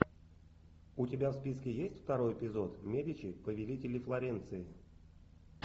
у тебя в списке есть второй эпизод медичи повелители флоренции